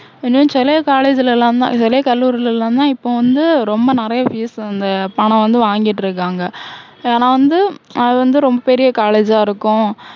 இன்னும் சில college லலாம் தான் சில கல்லூரில எல்லாம் தான் இப்போ வந்து ரொம்ப நிறைய fees இந்த பணம் வந்து வாங்கிட்டு இருக்காங்க. ஏன்னா வந்து அது வந்து ரொம்ப பெரிய college ஆ இருக்கும்.